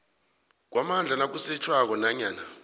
kwamandla nakusetjhwako nanyana